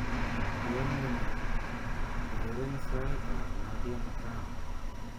Yamunee, ureren saitab Nadia Mukami